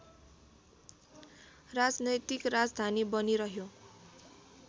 राजनैतिक राजधानी बनिरह्यो